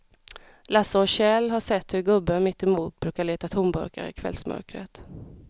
Lasse och Kjell har sett hur gubben mittemot brukar leta tomburkar i kvällsmörkret.